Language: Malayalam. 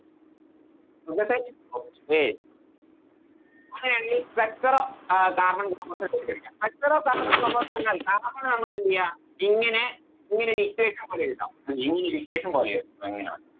നോക്കട്ട് അങ്ങനെ ആണെങ്കിൽ structure of ഏർ carbon compounds പഠിക്കാം Structure of carbon compound ന്ന് പറഞ്ഞാൽ Carbon നെ നമുക്കെന്തെയ്യം ഇങ്ങനെ ഇങ്ങനെ ഒരി Equation പോലെ എഴുതാം ഇങ്ങനെ ഒര് Equation പോലെ എഴുതാം ഇങ്ങനെ